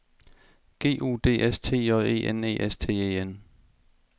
G U D S T J E N E S T E N